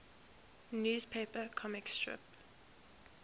newspaper comic strip